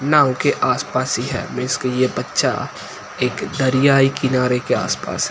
नाव के आसपास ही है इसके ये बच्चा एक दरियाई किनारे के आसपास है।